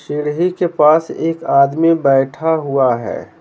सीढ़ी के पास एक आदमी बैठा हुआ है।